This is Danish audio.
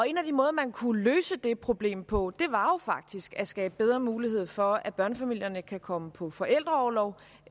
en af de måder man kunne løse det problem på var jo faktisk at skabe bedre mulighed for at børnefamilierne kan komme på forældreorlov